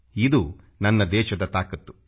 ಇದು ನನ್ನ ದೇಶದ ತಾಕತ್ತು